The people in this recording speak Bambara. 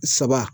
Saba